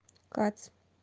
кац